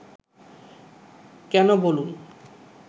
কেন বলুন